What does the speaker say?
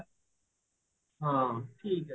ହଁ ଠିକ ଅଛି